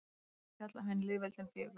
Hér verður fjallað um hin lýðveldin fjögur.